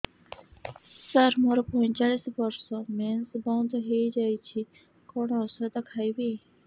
ସାର ମୋର ପଞ୍ଚଚାଳିଶି ବର୍ଷ ମେନ୍ସେସ ବନ୍ଦ ହେଇଯାଇଛି କଣ ଓଷଦ ଖାଇବି